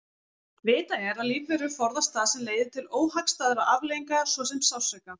Vitað er að lífverur forðast það sem leiðir til óhagstæðra afleiðinga svo sem sársauka.